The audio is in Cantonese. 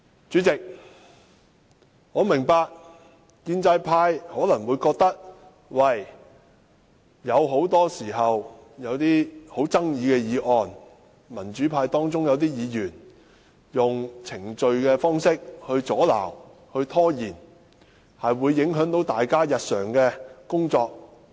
主席，我明白建制派可能覺得，民主派有些議員，很多時候以程序方式阻撓、拖延審議富爭議的議案，會影響大家的日常工作。